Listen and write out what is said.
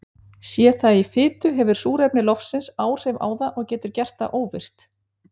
Sé það í fitu hefur súrefni loftsins áhrif á það og getur gert það óvirkt.